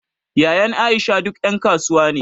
Yayyen Aisha duk ƴan kasuwa ne